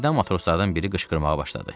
Birdən matroslardan biri qışqırmağa başladı.